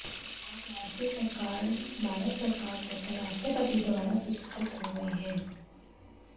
आप राज्य सरकार भारत सरकार तथा राष्ट्रपति द्वारा पुरस्कृत हुए हैं